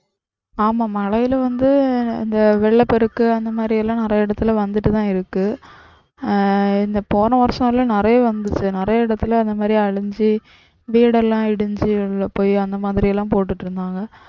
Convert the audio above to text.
ஆமா மழையில வந்து அந்த வெள்ள பெருக்கு அந்த மாதிரியெல்லாம் நிறைய இடத்துல வந்துட்டுதான் இருக்கு. ஆஹ் இந்த போன வருஷலாம் நிறைய வந்தது. நிறைய இடத்துல அந்த மாதிரி அழிஞ்சி வீடெல்லாம் இடிஞ்சி போய் அந்த மாதிரிலாம் போட்டுட்டு இருந்தாங்க.